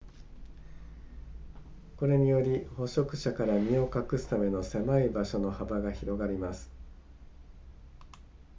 これにより捕食者から身を隠すための狭い場所の幅が広がります